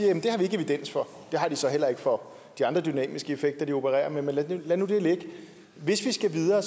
evidens for det har de så heller ikke for de andre dynamiske effekter de opererer med men lad nu det ligge hvis vi skal videre